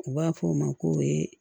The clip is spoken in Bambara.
U b'a fɔ o ma ko